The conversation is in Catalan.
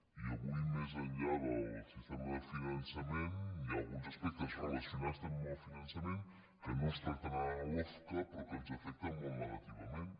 i avui més enllà del sistema de finançament hi ha alguns aspectes relacionats també amb el finançament que no es tracten a la lofca però que ens afecten molt negativament